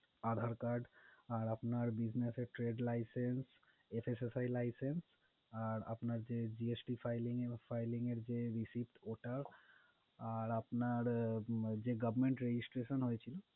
Aadhar card আর আপনার business's এর trade licence, SSSI license আর আপনার যে GST filling~filing এর যে receipt ওটা আর আপনার যে government registration হয়ছে,